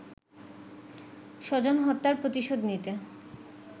স্বজন হত্যার প্রতিশোধ নিতে